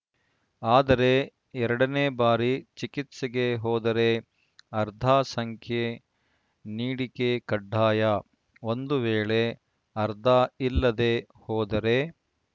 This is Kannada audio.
ಆದರೆ ಎರಡನೇ ಬಾರಿ ಚಿಕಿತ್ಸೆಗೆ ಹೋದರೆ ಆರ್ಧ ಸಂಖ್ಯೆ ನೀಡಿಕೆ ಕಡ್ಡಾಯ ಒಂದು ವೇಳೆ ಆರ್ಧ ಇಲ್ಲದೇ ಹೋದರೆ